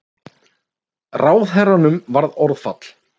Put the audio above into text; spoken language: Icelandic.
Ráðherranum varð orðfall.